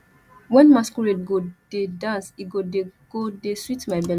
wen masquerade go dey dance e go dey go dey sweet my belle